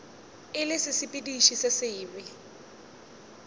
e le sesepediši se sebe